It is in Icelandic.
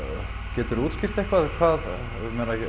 geturðu útskýrt eitthvað hvað ég meina